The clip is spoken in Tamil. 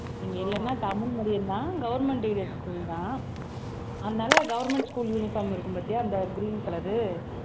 இங்க இல்லனா தமிழ் medium தான் government aided school தான் அதனால government school uniform இருக்கும் பாத்தியா அந்த green color உ